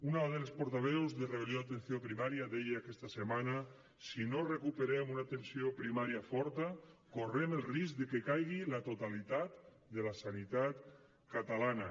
una de les portaveus de rebel·lió atenció primària deia aquesta setmana si no recuperem una atenció primària forta correm el risc de que caigui la totalitat de la sanitat catalana